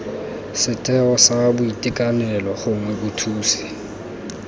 setheo sa boitekanelo gongwe bothusi